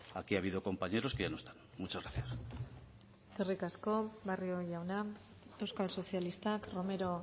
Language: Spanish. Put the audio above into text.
aquí ha habido compañeros que ya no están muchas gracias eskerrik asko barrio jauna euskal sozialistak romero